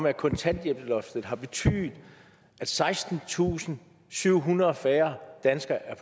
at kontanthjælpsloftet har betydet at sekstentusinde og syvhundrede færre danskere er